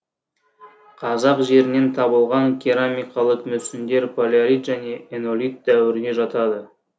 қазақ жерінен табылған керамикалық мүсіндер палеолит және энолит дәуіріне жатады